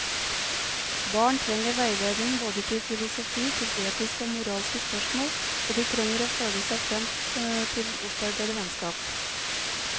Barn trenger veiledning både til filosofi, til etiske og moralske spørsmål, og de trenger å føle seg frem til å opparbeide vennskap.